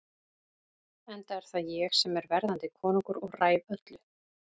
Enda er það ég sem er verðandi konungur og ræð öllu.